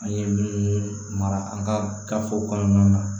An ye minnu mara an ka gafew kɔnɔnaw na